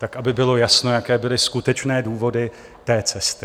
Tak aby bylo jasno, jaké byly skutečné důvody té cesty.